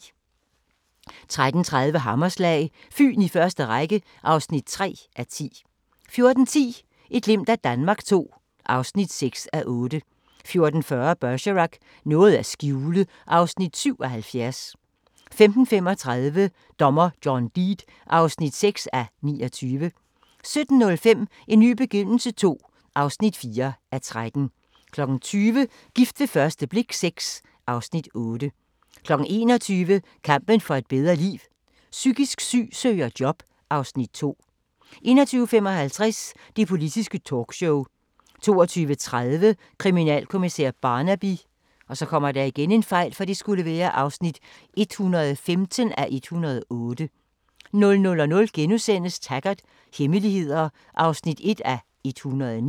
13:30: Hammerslag – Fyn i første række (3:10) 14:10: Et glimt af Danmark II (6:8) 14:40: Bergerac: Noget at skjule (Afs. 77) 15:35: Dommer John Deed (6:29) 17:05: En ny begyndelse II (4:13) 20:00: Gift ved første blik VI (Afs. 8) 21:00: Kampen for et bedre liv: Psykisk syg søger job (Afs. 2) 21:55: Det Politiske Talkshow 22:30: Kriminalkommissær Barnaby (115:108) 00:00: Taggart: Hemmeligheder (1:109)*